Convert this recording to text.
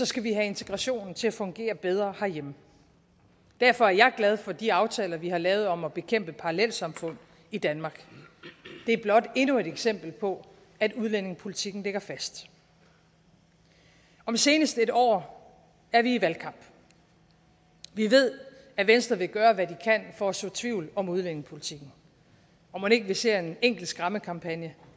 skal vi have integrationen til at fungere bedre herhjemme derfor er jeg glad for de aftaler vi har lavet om at bekæmpe parallelsamfund i danmark det er blot endnu et eksempel på at udlændingepolitikken ligger fast om senest et år er vi i valgkamp vi ved at venstre vil gøre hvad de kan for at så tvivl om udlændingepolitikken og mon ikke vi ser en enkelt skræmmekampagne